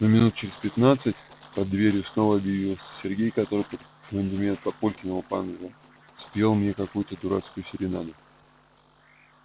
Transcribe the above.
но минут через пятнадцать под дверью снова объявился сергей который под аккомпанемент папулькиного банджо спел мне какую-то дурацкую серенаду